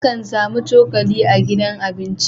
Akan samu cokali a gidan abinci